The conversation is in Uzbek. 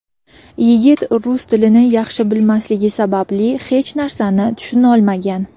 Yigit rus tilini yaxshi bilmasligi sababli hech narsani tushuntirolmagan.